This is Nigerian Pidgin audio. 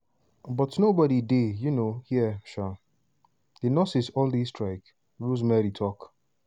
but nobody dey um hia; um di nurses all dey strike" rosemary tok.